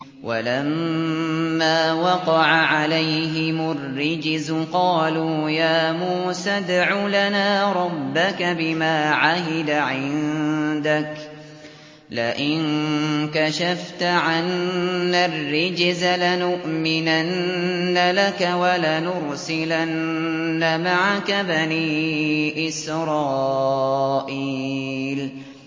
وَلَمَّا وَقَعَ عَلَيْهِمُ الرِّجْزُ قَالُوا يَا مُوسَى ادْعُ لَنَا رَبَّكَ بِمَا عَهِدَ عِندَكَ ۖ لَئِن كَشَفْتَ عَنَّا الرِّجْزَ لَنُؤْمِنَنَّ لَكَ وَلَنُرْسِلَنَّ مَعَكَ بَنِي إِسْرَائِيلَ